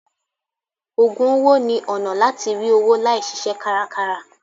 Ògùn owó ni ọ̀nà láti rí owó láì ṣiṣẹ́ kárakára.